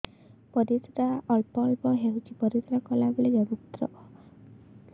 ପରିଶ୍ରା ଅଳ୍ପ ଅଳ୍ପ ହେଉଛି ପରିଶ୍ରା କଲା ବେଳେ ବହୁତ ଯନ୍ତ୍ରଣା ହେଉଛି